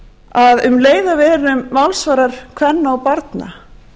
að um leið og við verðum málsvarar kvenna og barna